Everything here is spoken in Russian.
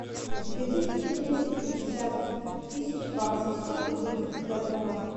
две тысячи триста пятьдесят тысяч баксов сколько будет в бальбоа